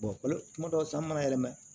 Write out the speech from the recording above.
kuma dɔw san mana yɛrɛ mɛn